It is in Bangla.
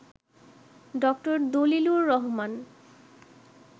ড. দলিলুর রহমান